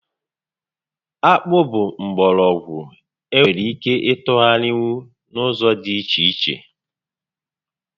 Akpụ bụ mgbọrọgwụ e nwere ike ịtụgharịnwu n'ụzọ dị iche iche